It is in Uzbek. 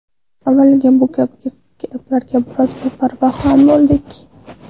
Avvaliga bu kabi gaplarga biroz beparvo ham bo‘ldik.